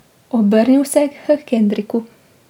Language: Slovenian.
Obrnil se je k Henriku.